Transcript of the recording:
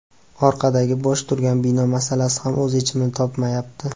Orqadagi bo‘sh turgan bino masalasi ham o‘z yechimini topmayapti.